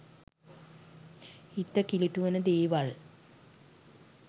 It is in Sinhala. හිත කිලිටු වන දේවල්